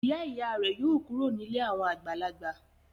Ìyá-ìyá rẹ̀ yóò kúrò nílé àwọn àgbàlagbà.